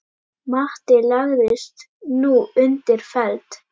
Matti lagðist nú undir feld.